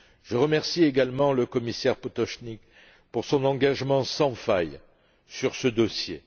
Je remercie également le commissaire Potočnik pour son engagement sans faille sur ce dossier.